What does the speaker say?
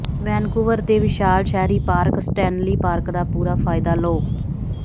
Vancouver ਦੇ ਵਿਸ਼ਾਲ ਸ਼ਹਿਰੀ ਪਾਰਕ ਸਟੈਨਲੀ ਪਾਰਕ ਦਾ ਪੂਰਾ ਫਾਇਦਾ ਲਓ